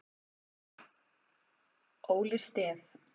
Óli Stef